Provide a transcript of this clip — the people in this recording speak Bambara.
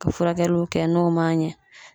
Ka furakɛliw kɛ n'o man ɲɛ